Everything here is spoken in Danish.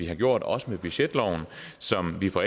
har gjort også med budgetloven som vi fra